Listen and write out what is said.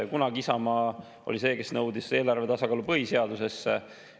Kunagi oli Isamaa see, kes nõudis eelarve tasakaalu põhiseadusesse.